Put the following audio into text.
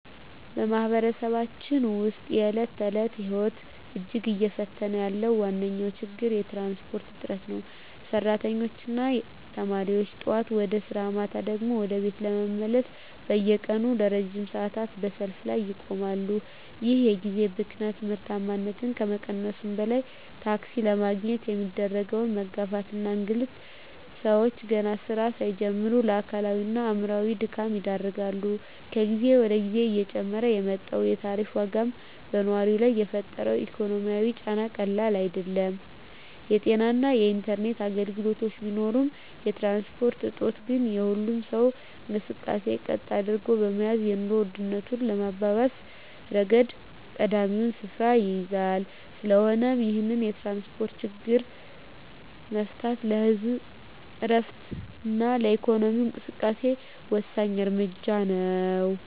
በማኅበረሰባችን ውስጥ የዕለት ተዕለት ሕይወትን እጅግ እየፈተነ ያለው ዋነኛው ችግር የትራንስፖርት እጥረት ነው። ሠራተኞችና ተማሪዎች ጠዋት ወደ ሥራ፣ ማታ ደግሞ ወደ ቤት ለመመለስ በየቀኑ ለረጅም ሰዓታት በሰልፍ ላይ ይቆማሉ። ይህ የጊዜ ብክነት ምርታማነትን ከመቀነሱም በላይ፣ ታክሲ ለማግኘት የሚደረገው መጋፋትና እንግልት ሰዎችን ገና ሥራ ሳይጀምሩ ለአካላዊና አእምሮአዊ ድካም ይዳርጋል። ከጊዜ ወደ ጊዜ እየጨመረ የመጣው የታሪፍ ዋጋም በነዋሪው ላይ የፈጠረው ኢኮኖሚያዊ ጫና ቀላል አይደለም። የጤናና የኢንተርኔት ችግሮች ቢኖሩም፣ የትራንስፖርት እጦት ግን የሁሉንም ሰው እንቅስቃሴ ቀጥ አድርጎ በመያዝ የኑሮ ውድነቱን በማባባስ ረገድ ቀዳሚውን ስፍራ ይይዛል። ስለሆነም ይህንን የትራንስፖርት ችግር መፍታት ለህዝቡ ዕረፍትና ለኢኮኖሚው እንቅስቃሴ ወሳኝ እርምጃ ነው።